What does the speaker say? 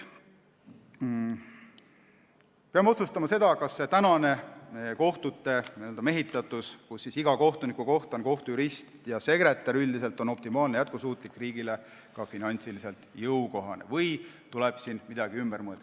Peame otsustama, kas praegune kohtute n-ö mehitatus, et iga kohtuniku kohta on kohtujurist ja sekretär, on optimaalne, jätkusuutlik ja riigile ka finantsiliselt jõukohane või tuleb siin midagi ümber teha.